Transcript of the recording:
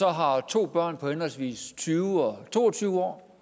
har to børn på henholdsvis tyve og to og tyve år